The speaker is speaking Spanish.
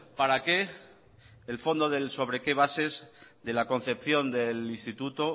para qué el fondo sobre qué bases de la concepción del instituto